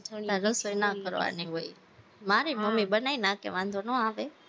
તારે રસોઈ ના કરવાની હોય, મારેય મમ્મી બનાઈ નાખે, વાંધો નો આવે